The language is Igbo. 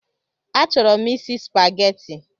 A chọrọ m isi Spageti